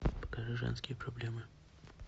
покажи женские проблемы